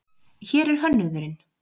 Hér er hönnuðurinn.